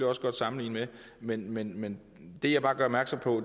også godt sammenligne med men men det jeg bare gør opmærksom på